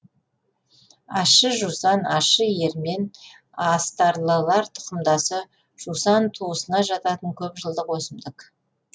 ащы жусан ащы ермен астарлылар тұқымдасы жусан туысына жататын көп жылдық өсімдік